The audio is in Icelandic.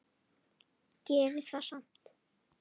Gerir það samt.